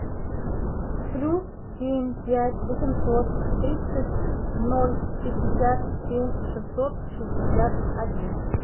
плюс семь пять восемьсот тридцать ноль пятьдесят семь шестьсот шестьдесят один